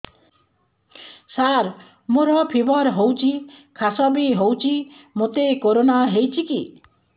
ସାର ମୋର ଫିବର ହଉଚି ଖାସ ବି ହଉଚି ମୋତେ କରୋନା ହେଇଚି କି